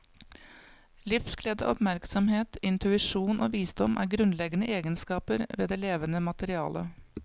Livsglede, oppmerksomhet, intuisjon og visdom er grunnleggende egenskaper ved det levende materiale.